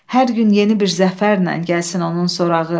Hər gün yeni bir zəfərlə gəlsin onun sorağı.